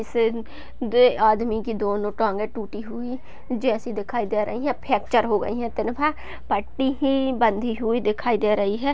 इस आदमी की दोनों टांगें टूटी हुई जैसी दिखाई दे रहीं हैं फैक्चर हो गयीं हैं पट्टी ही बंधी हुई दिखाई दे रही है।